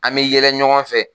An bɛ yɛlɛ ɲɔgɔn fɛ